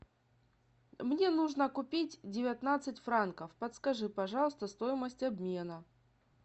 мне нужно купить девятнадцать франков подскажи пожалуйста стоимость обмена